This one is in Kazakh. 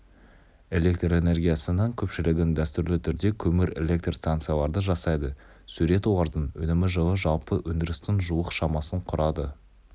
электр энергиясының көпшілігін дәстүрлі түрде көмір электр станциялары жасайды сурет олардың өнімі жылы жалпы өндірістің жуық шамасын құрады